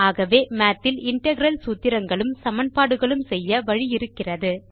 ஆகவே மாத் இல் இன்டெக்ரல் சூத்திரங்களும் சமன்பாடுகளும் செய்ய வழி இருக்கிறது